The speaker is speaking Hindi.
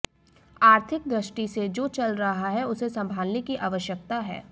आर्थिक दृष्टि से जो चल रहा है उसे संभालने की आवश्यकता है